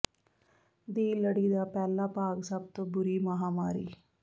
ਦੀ ਲੜੀ ਦਾ ਪਹਿਲਾ ਭਾਗ ਸਭ ਤੋਂ ਬੁਰੀ ਮਹਾਂਮਾਰੀ